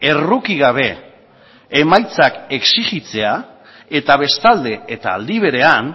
erruki gabe emaitzak exijitzea eta bestalde eta aldi berean